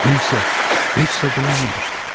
Bu isə heç zad eləməmişdi.